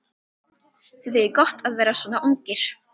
Þið eigið gott að vera svona ungir.